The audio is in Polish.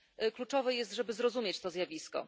Kluczowe jest, żeby zrozumieć to zjawisko.